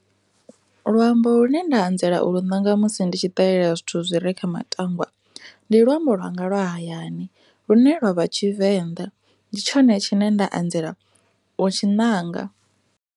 Luambo lune nda anzela u lu nanga musi ndi tshi ṱalela zwithu zwine zwa vha kha matangwa ndi luambo lwanga lwa hayani lune lwa vha tshivenḓa ndi tshone tshine nda anzela u tshi nanga.